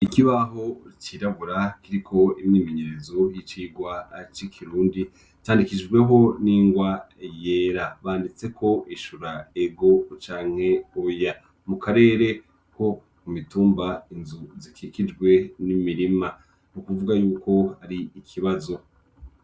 Ikibaho cirabura kiriko imyimenyerezo y'icigwa c'ikirundi, candikishijweho n'ingwa yera, banditseko ishura ego canke oya, mu karere ko ku mitumba inzu zikikijwe n'imirima, n'ukuvuga yuko ari ikibazo.